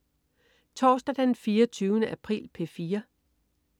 Torsdag den 24. april - P4: